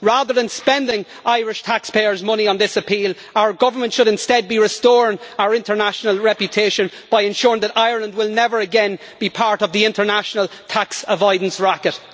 Rather than spending Irish taxpayers' money on this appeal, our government should instead be restoring our international reputation by ensuring that Ireland will never again be part of the international tax avoidance racket.